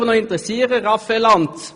Mich würde interessieren, Raphael Lanz: